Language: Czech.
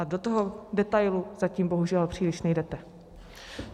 A do toho detailu zatím bohužel příliš nejdete.